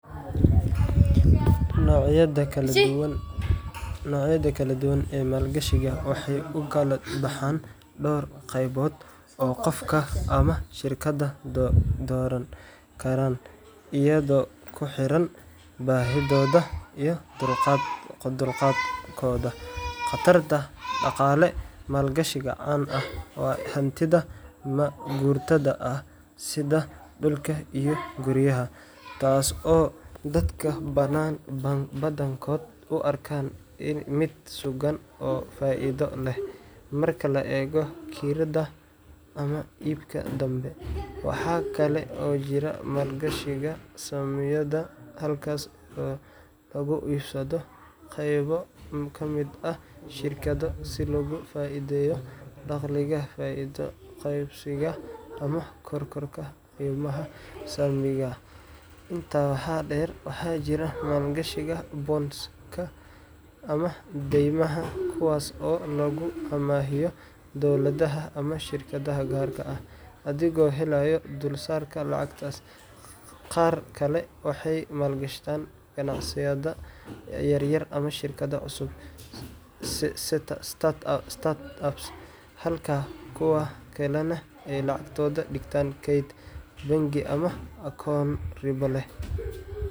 Noocyada kala duwan ee maalgashiga waxay u kala baxaan dhowr qaybood oo qofka ama shirkadda dooran karaan iyadoo ku xiran baahidooda iyo dulqaadkooda khatarta dhaqaale. Maalgashi caan ah waa hantida ma-guurtada ah, sida dhulka iyo guryaha, taas oo dadka badankood u arkaan mid sugan oo faa’iido leh marka la eego kirada ama iibka dambe. Waxaa kale oo jira maalgashiga saamiyada, halkaas oo lagu iibsado qaybo ka mid ah shirkado si loogu faa’iideeyo dakhliga faa’iido qaybsiga ama kororka qiimaha saamiga. Intaa waxaa dheer, waxaa jira maalgashiga bonds-ka ama daymaha, kuwaas oo lagu amaahiyo dowladda ama shirkado gaar ah, adigoo helaya dulsaarka lacagtaas. Qaar kale waxay maalgashadaan ganacsiyo yaryar ama shirkado cusub startups, halka kuwa kalena ay lacagtooda dhigtaan keyd bangi ama akoono ribo